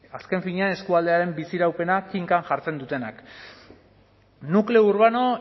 azken finean eskualdearen biziraupena kinkan jartzen dutenak nukleo urbano